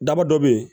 Daba dɔ bɛ ye